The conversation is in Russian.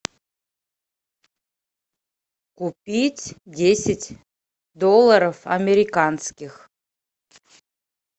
купить десять долларов американских